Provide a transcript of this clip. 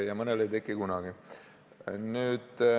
Ja mõnel ei teki kunagi.